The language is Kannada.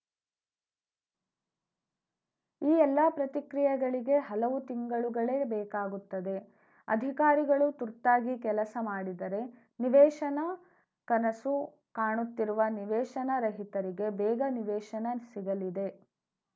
ಈ ಎಲ್ಲ ಪ್ರತಿಕ್ರಿಯೆಗಳಿಗೆ ಹಲವು ತಿಂಗಳುಗಳೇ ಬೇಕಾಗುತ್ತದೆ ಅಧಿಕಾರಿಗಳು ತುರ್ತಾಗಿ ಕೆಲಸ ಮಾಡಿದರೆ ನಿವೇಶನ ಕನಸು ಕಾಣುತ್ತಿರುವ ನಿವೇಶನ ರಹಿತರಿಗೆ ಬೇಗ ನಿವೇಶನ ಸಿಗಲಿದೆ